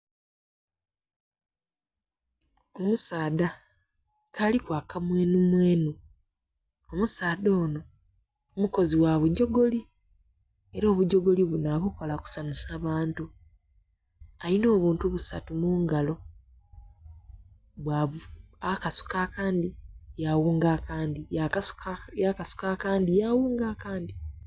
Omusaadha nga aliku akamwenhumwenhu. Omusaadha ono mukozi gha bugyogoli era obugyogoli buno abukola kusanhusa bantu. Alina obuntu busatu mu ngalo, akasuka akandi yawunga akandi, yakasuka akandi yawunga akandi.